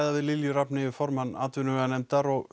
við Lilju Rafneyju formann atvinnuveganefndar og